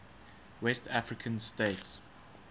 west african states